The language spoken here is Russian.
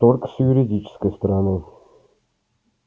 торг с юридической стороны